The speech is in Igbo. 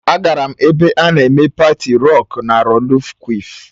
Agara m ebe a na-eme paati rocku na rollu kwịf.